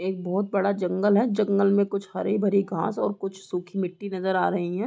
एक बहुत बड़ा जंगल है जंगल में हरी-भरी घास और सुखी मिट्टी नजर आ रही हैं।